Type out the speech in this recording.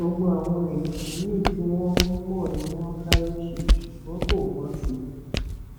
gbogbo àwọn ètò míín tí wọn mọ ni wọn sáré ṣe ṣùgbọn kò bọ sí i